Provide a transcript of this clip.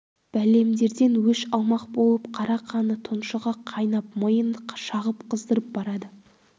бәлемдерден өш алмақ болып қара қаны тұншыға қайнап миын шағып қыздырып барады